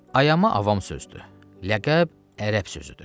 Ayama avam sözdür, ləqəb ərəb sözüdür.